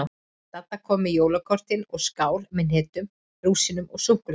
Dadda kom með jólakortin og skál með hnetum, rúsínum og súkkulaði.